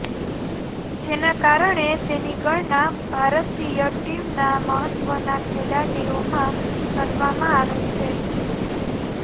જેના કારણે તેની ગણના ભારતીય ટીમના મહત્ત્વના ખેલાડીઓમાં કરવામાં આવે છે